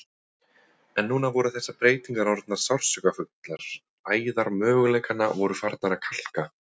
En núna voru þessar breytingar orðnar sársaukafullar, æðar möguleikanna voru farnar að kalka.